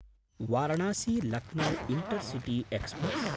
वारणासी–लक्नौ intercity express